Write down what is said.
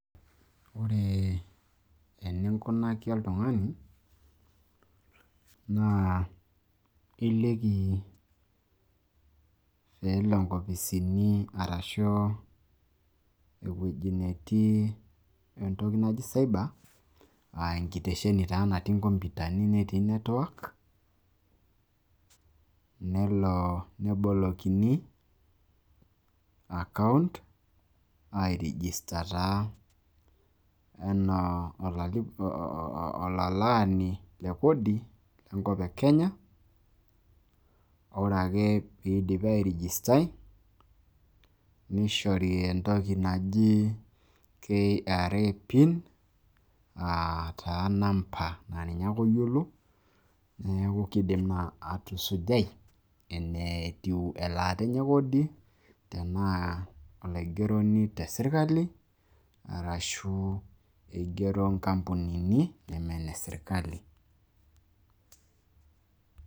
Ore eninkunaki oltung`ani naa iliki pee elo nkopisini arashu ewueji netii entoki naji cyber. Aaa enkitesheni taa natii nkomputani netii network nelo nebolikini account ai register taa enaa olalaani le kodi le nkop e Kenya. Ore ake pee idipi ai register nishori entoki naji KRA Pin aa taa namba naa ninye ake oyiolo. Niaku kidim naa atusujai enetiu elaata enye e kodi tenaa olaigeroni te sirkali arashu igero nkampunini neme ine sirkali.